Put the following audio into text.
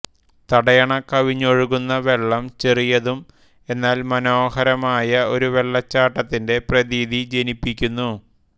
തടയണ കവിഞ്ഞൊഴുകുന്ന വെള്ളം ചെറിയതും എന്നാൽ മനോഹരമായ ഒരു വെള്ളച്ചാട്ടത്തിന്റെ പ്രതീതി ജനിപ്പിക്കുന്നു